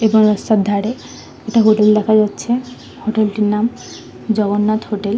এপারে রাস্তার ধারে একটা হোটেল দেখা যাচ্ছে হোটেল - টির নাম জগন্নাথ হোটেল ।